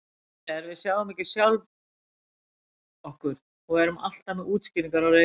Málið er: Við sjáum ekki sjálf okkur og erum alltaf með útskýringar á reiðum höndum.